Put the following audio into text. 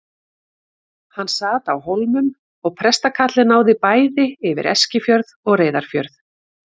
Hann sat á Hólmum og prestakallið náði bæði yfir Eskifjörð og Reyðarfjörð.